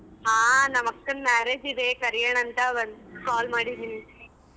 ಹಾ ನಮ್ ಅಕ್ಕನ marriage ಇದೆ ಕರಿಯಣಾ ಅಂತ ಒಂದ್ call ಮಾಡಿದೀನಿ.